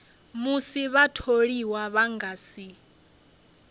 musi vhatholiwa vha nga si